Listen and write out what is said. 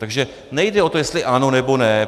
Takže nejde o to, jestli ano, nebo ne.